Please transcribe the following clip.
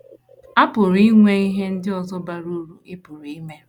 A pụrụ inwe ihe ndị ọzọ bara uru ị pụrụ ime.